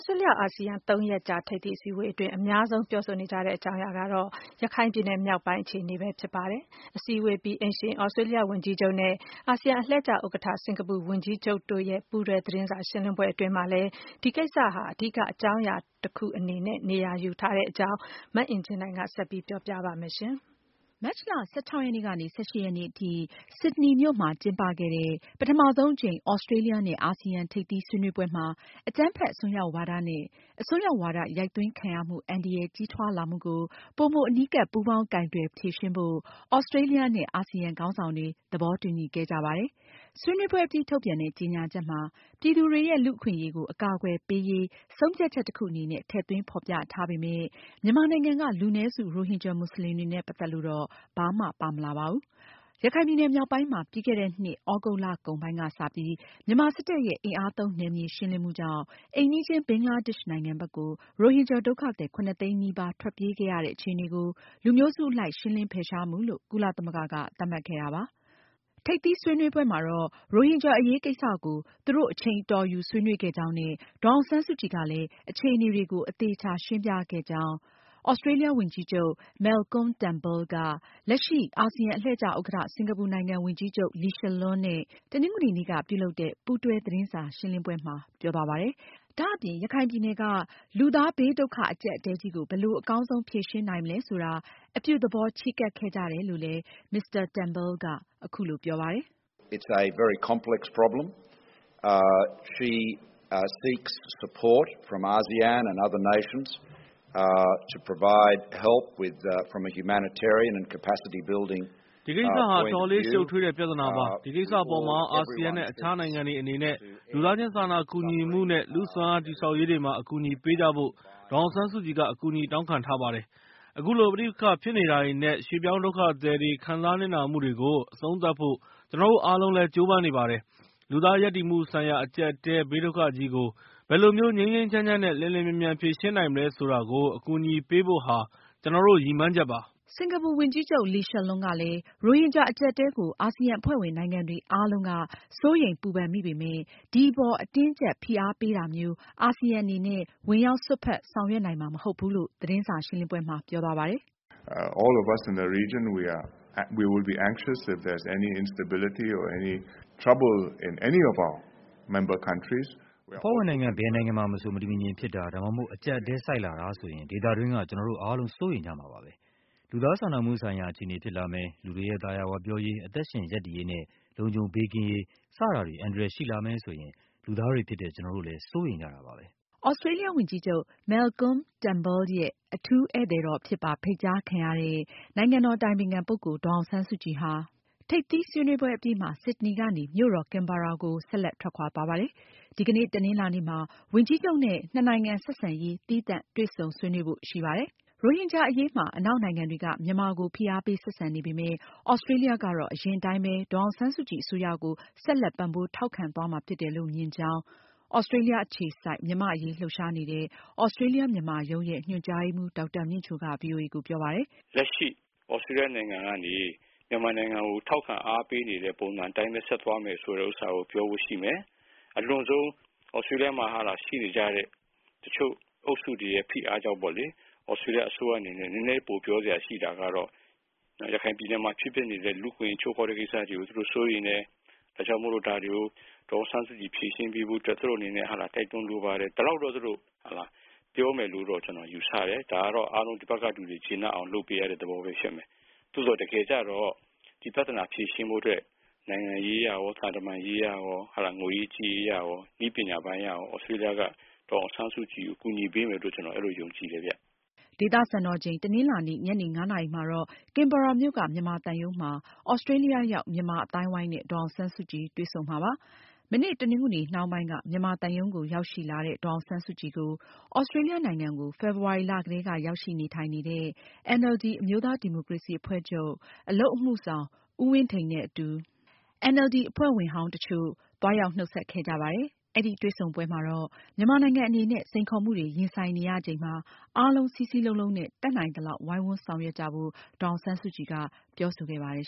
စတြေးလျ-အာဆီယံ သုံးရက်ကြာ ထိပ်သီးအစည်းအဝေးအတွင်း အများဆုံး ပြောဆိုကြတဲ့ အကြောင်းအရာကတော့ ရခိုင် ပြည်နယ်မြောက်ပိုင်းက အခြေအနေပဲဖြစ်ပါတယ်။ အစည်းအဝေးအပြီး အိမ်ရှင် သြစတြေးလျ ဝန်ကြီးချုပ်နဲ့ အာဆီယံအလှည့် ကျဥက္ကဌ စင်္ကာပူဝန်ကြီးချုပ်တို့ရဲ့ ပူးတွဲ သတင်းစာရှင်းလင်းပွဲအတွင်းမှာလည်း ဒီကိစ္စဟာ အဓိက အကြောင်းတခုအနေနဲ့ နေရာ ယူခဲ့တာပါ။ ဒီအကြောင်း မအင်ကြင်းနိုင်က ဆက်ပြောပြပါမယ်။ မတ်လ ၁၆-၁၈ ရက်နေ့ထိ ဆစ်ဒနီမြို့မှာကျင်းပခဲ့တဲ့ ပထဆုံးအကြိမ် သြစတြေးလျနဲ့ အာဆီယံ ထိပ်သီးဆွေးနွေးပွဲမှာ အကြမ်းဖက်အစွန်းရောက်ဝါဒနဲ့ အစွန်းရောက်ဝါဒ ရိုက်သွင်းခံရမှု အန္တရာယ်ကြီးထွားလာမှုကို ပိုမိုအနီးကပ် ပူးပေါင်းကိုင်တွယ်ဖြေရှင်းဖို့ သြစတြေးလျနဲ့ အာဆီယံ ခေါင်းဆောင်တွေ သဘောတူညီခဲ့ကြပါတယ်။ ဆွေးနွေးပွဲအပြီး ထုတ်ပြန်တဲ့ ကြေညာချက်မှာ ပြည်သူတွေရဲ့ လူ့အခွင့်အရေးကို အကာအကွယ်ပေးရေး ဆုံးဖြတ်ချက်တခုအနေနဲ့ ထည့်သွင်းဖေါ်ပြထားပေမယ့် မြန်မာနိုင်ငံက လူနည်းစု ရိုဟင်ဂျာမွတ်စလင်တွေနဲ့ ပတ်သက်လို့တော့ ဘာမှပါမလာပါဘူး။ ရခိုင်ပြည်နယ်မြောက်ပိုင်းမှာ ပြီးခဲ့တဲ့နှစ် သြဂုတ်လကုန်ပိုင်းကစပြီး မြန်မာစစ်တပ်ရဲ့ အင်အားသုံးနယ်မြေရှင်းလင်းမှုကြောင့် အိမ်နီးချင်းဘင်္ဂလားဒေ့ရှ်နိုင်ငံဘက်ကို ရိုဟင်ဂျာဒုက္ခသည် ၇၀၀,၀၀၀ သိန်းနီးပါးထွက်ပြေးခဲ့ရတဲ့အခြေအနေကို လူမျိုးစု အလိုက်ရှင်းလင်းဖယ်ရှားမှုလို့ ကုလသမဂ္ဂက သတ်မှတ်ခဲ့တာပါ။ သြစတြေးလျ ဝန်ကြီးချုပ် Moalcolm Turnbull ကတော့ ရိုဟင်ဂျာအရေးကိစ္စကို သူတို့ အချိန်အတော်ယူဆွေးနွေးခဲ့ကြောင်းနဲ့ ဒေါ်အောင်ဆန်းစုကြည်ကလည်း အခြေအနေတွေကို အသေအချာ ရှင်းပြခဲ့ကြောင်း လက်ရှိ အာဆီယံအလှည့်ကျ ဥက္ကဌ စင်္ကာပူနိုင်ငံ ဝန်ကြီးချုပ် Lee Hsien Loong နဲ့ တနင်္ဂနွေနေ့က ပူးတွဲသတင်းစာရှင်းလင်းပွဲမှာ ပြောသွားပါတယ်။ ဒါအပြင် ရခိုင်ပြည်နယ်က လူသားဘေးဒုက္ခ အကြပ်အတည်းကြီးကို ဘယ်လို အကောင်းဆုံးဖြေရှင်းနိုင်မလဲဆိုတာ အပြုသဘော ချည်းကပ်ခဲ့ကြတယ်လို့လည်း Mr. Turnbull က အခုလိုပြောပါတယ်။ “ဒီကိစ္စဟာ အတော်လေး ရှုပ်ထွေးတဲ့ ပြဿနာပါ။ ဒီကိစ္စအပေါ်မှာ အာဆီယံနဲ့ အခြားနိုင်ငံတွေအနေနဲ့ လူသားချင်းစာနာကူညီမှုနဲ့ လူစွမ်းအားတည်ဆောက်ရေးတွေမှာ အကူအညီပေးကြဖို့ ဒေါ်အောင်ဆန်းစုကြည်က အကူအညီတောင်းခံထားပါတယ်။ အခုလို ပဋိပက္ခဖြစ်နေတာတွေနဲ့ ရွေ့ပြောင်းဒုက္ခသည်တွေ ခံစားနစ်နာမှုတွေကို အဆုံးသတ်ဖို့ ကျနော်တို့အားလုံးလည်း ကြိုးပမ်းနေပါတယ်။ လူသားရပ်တည်မှုဆိုင်ရာ အကြပ်အတည်းဘေးဒုက္ခကြီးကို ဘယ်လိုမျိုး ငြိမ်းငြိမ်းချမ်းချမ်းနဲ့ လျှင်လျှင်မြန်မြန်ဖြေရှင်းနိုင်မလဲဆိုတာကို အကူအညီပေးဖို့ဟာ ကျနော်တို့ ရည်မှန်းချက်ပါ။” စင်္ကာပူဝန်ကြီးချုပ် Lee Hsien Loong ကလည်း ရိုဟင်ဂျာအကျပ်အတည်းကို အာဆီယံအဖွဲ့ဝင်နိုင်ငံတွေ အားလုံးက စိုးရိမ်ပူပန်မိပေမယ့် ဒီအပေါ် အတင်းအကျပ်ဖိအားပေးတာမျိုး အာဆီယံအနေနဲ့ ဝင်ရောက်စွက်ဖက် ဆောင်ရွက်နိုင်မှာ မဟုတ်ဘူးလို့ သတင်းစာရှင်းလင်းပွဲမှာ ပြောသွားပါတယ်။ "အဖွဲ့ဝင်နိုင်ငံ ဘယ်နိုင်ငံမှာမဆို မတည်မငြိမ်ဖြစ်တာ ဒါမှမဟုတ် အကျပ်အတည်းဆိုက်လာတာဆိုရင် ဒေသတွင်းက ကျနော်တို့အားလုံး စိုးရိမ်ကြမှာပါပဲ။ လူသားချင်းစာနာမှုဆိုင်ရာ အခြေအနေဖြစ်လာမယ်၊ လူတွေရဲ့ သာယာဝပြောရေး၊ အသက်ရှင်ရပ်တည်ရေးနဲ့ လုံခြုံဘေးကင်းရေး စတာတွေ အန္တရာယ်ရှိလာမယ်ဆိုရင် လူသားတွေဖြစ်တဲ့ ကျနော်တို့လည်း စိုးရိမ်ကြတာပါပဲ။" သြစတြေးလျဝန်ကြီးချုပ် Moalcolm Turnbul ရဲ့ အထူးဧည့်သည်တော်အဖြစ်ပါ ဖိတ်ကြားခံရတဲ့ နိုင်ငံတော်အတိုင်ပင်ခံပုဂ္ဂိုလ် ဒေါ်အောင်ဆန်းစုကြည်ဟာ ထိပ်သီးဆွေးနွေးပွဲအပြီးမှာ ဆစ်ဒနီကနေ မြို့တော် ကင်ဘာရာကို ဆက်လက်ထွက်ခွာသွားပါတယ်။ ဒီကနေ့ တနင်္လာနေ့မှာ ဝန်ကြီးချုပ်နဲ့ နှစ်နိုင်ငံဆက်ဆံရေး သီးသန့်တွေ့ဆုံဆွေးနွေးဖို့ ရှိပါတယ်။ ရိုဟင်ဂျာအရေးမှာ အနောက်နိုင်ငံတွေက မြန်မာကို ဖိအားပေးဆက်ဆံနေပေမယ့် သြစတြေးလျကတော့ အရင်အတိုင်းပဲ ဒေါ်အောင်ဆန်းစုကြည်အစိုးရကို ဆက်လက်ပံပိုးထောက်ခံသွားမှာဖြစ်တယ်လို့ မြင်ကြောင်း သြစတြေးလျအခြေစိုက် မြန်မာအရေးလှုပ်ရှားနေတဲ့ သြစတြေးလျ-မြန်မာရုံး ရဲ့ ညွှန်ကြားရေးမှူး ဒေါက်တာမြင့်ချို က ဗွီအိုအေကိုပြောပါတယ်။ "လက်ရှိ သြစတြေးလျ နိုင်ငံကနေ မြန်မာနိုင်ငံကို ထာက်ခံအားပေးနေတဲ့ ပုံစံအတိုင်းပဲဆက်သွားမယ်ဆိုတာကို ပြောဖို့ရှိမယ်။ သြစတြေးလျမှာရှိနေကြတဲ့ တချို့အုပ်စုတွေရဲ့ ဖိအားကြောင့်ပေါ့လေ လက်ရှိအစိုးရအနေနဲ့ နည်းနည်းပိုပြောစရာ ရှိတာကတော့ ရခိုင်ပြည်နယ်မှာဖြစ်နေတဲ့ လူ့အခွင့်အရေးချိုးဖောက်တဲ့ကိစ္စတွေကို သူတို့ စိုးရိမ်တယ်။ ဒါကြောင့်ဒါတွေကို ဒေါ်အောင်ဆန်းစုကြည်ဖြေရှင်းပေးဖို့အတွက် သူတို့အနေနဲ့ တိုက်တွန်းလိုပါတယ် ဒီလောက်တော့ သူတို့ ပြောမယ်လို့တော့ ယူဆတယ်။ ဒါကတော့ တဖက်ကလူတွေ ကျေနပ်အောင် လုပ်ပေးရတဲ့ သဘောဖြစ်မယ်။ သို့သော်တကယ်ကျတော့ ဖြေရှင်းဖို့အတွက် နိုင်ငံရေးအရရော သံတမန်ရေးအရရော ၊ ငွေရေးကြေးရေးအရရော နည်းပညာပိုင်းအရရော သြစတြေးလျက ဒေါ်အောင်ဆန်းစုကြည်ကို ကူညီမယ်လို့ ကျနော်တို့ ယုံကြည်တယ်ခင်ဗျ။" ဒေသစံတော်ချိန် တနင်္လာနေ့ ညနေ ၅ နာရီမှာတော့ ကင်ဘာရာမြို့က မြန်မာသံရုံးမှာ သြစတြေးလျရောက် မြန်မာအသိုင်းအဝိုင်းနဲ့ ဒေါ်အောင်ဆန်းစုကြည် တွေ့ဆုံမှာဖြစ်ပါတယ်။ မနေ့ တနင်္ဂနွေနှောင်းပိုင်းက မြန်မာသံရုံးကို ရောက်ရှိလာတဲ့ ဒေါ်အောင်ဆန်းစုကြည်ကို သြစတြေးလျနိုင်ငံကို ဖေဖေါ်ဝါရီလကတည်းက ရောက်ရှိနေထိုင်နေတဲ့ NLD အမျိုးသားဒီမိုကရေစီအဖွဲ့ချုပ် ဗဟို အလုပ်အမှုဆောင်အဖွဲ့ဝင် ဦးဝင်းထိန်နဲ့အတူ NLD အဖွဲ့ဝင်ဟောင်းတချို့ သွားရောက်နှုတ်ဆက်ခဲ့ကြပါတယ်။ အဲဒီတွေ့ဆုံပွဲမှာတော့ မြန်မာနိုင်ငံအနေနဲ့ စိန်ခေါ်မှုတွေရင်ဆိုင်နေရချိန်မှာ အားလုံး စည်းစည်းလုံးလုံးနဲ့ တတ်နိုင်သလောက် ဝိုင်းဝန်းဆောင်ရွက်ကြဖို့ ဒေါ်အောင်ဆန်းစုကြည်က ပြောဆိုခဲ့ပါတယ်